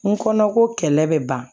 N kɔnɔko kɛlɛ bɛ ban